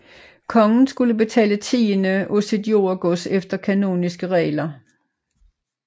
Kongen skulle betale tiende af sit jordegods efter kanoniske regler